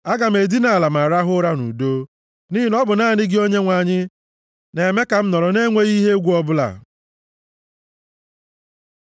Aga m edina ala ma rahụ ụra nʼudo, nʼihi na ọ bụ naanị gị Onyenwe anyị, na-eme ka m nọrọ na-enweghị ihe egwu ọbụla.